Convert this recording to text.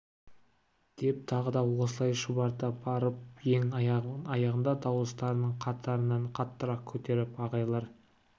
деп тағы да осылай шұбырта барып ең аяғында дауыстарын қатарынан қаттырақ көтеріп ағайлар